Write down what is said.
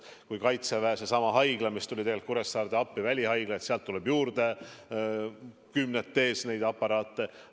Kui kaitseväe välihaigla tuli Kuressaarde appi, siis sealt tuli neid aparaate kümnetes juurde.